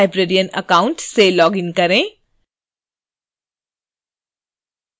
अब superlibrarian account से login करें